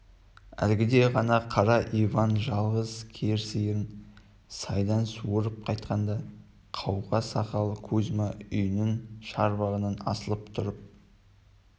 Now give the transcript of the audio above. әлгіде ғана қара иван жалғыз кер сиырын сайдан суарып қайтқанда қауға сақал кузьма үйінің шарбағынан асылып тұрып